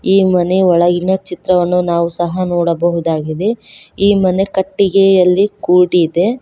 ಈ ಮನೆ ಒಳಗಿನ ಚಿತ್ರವನ್ನು ನಾವು ಸಹ ನೋಡಬಹುದಾಗಿದೆ ಈ ಮನೆ ಕಟ್ಟಿಗೆಯಲ್ಲಿ ಕೂಡಿದೆ.